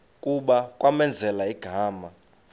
kuba kwamenzela igama